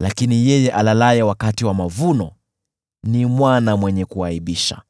lakini yeye alalaye wakati wa mavuno ni mwana mwenye kuaibisha.